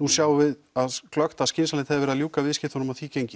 nú sjáum við glöggt að skynsamlegt hefði verið að ljúka viðskiptunum á því gengi